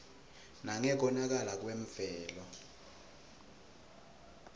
nangekonakala kwemvelo